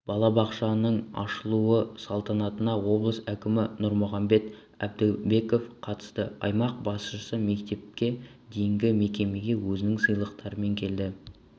балабақшаның ашылу салтанатына облыс әкімі нұрмұхамбет әбдібеков қатысты аймақ басшысы мектепке дейінгі мекемеге өзінің сыйлықтарымен келді